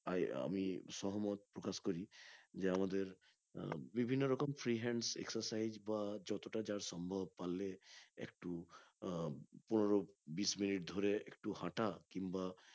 আহ আমি সহমত প্রকাশ করি যে আমাদের আহ আমাদের বিভিন্ন রকম free hands excercise বা যতটা যার সম্ভব পারলে একটু আহ পনেরো বিষ মিনিট ধরে একটু হাটা কিংবা